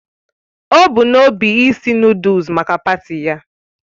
O bu n'obi isi Nụ́dúlsu maka paati ya